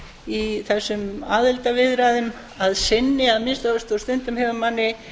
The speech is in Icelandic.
í þessum aðildarviðræðum að sinni að minnsta kosti og stundum hefur manni